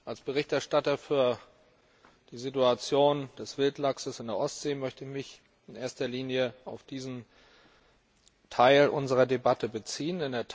Als Berichterstatter für die Situation des Wildlachses in der Ostsee möchte ich mich in erster Linie auf diesen Teil unserer Debatte beziehen.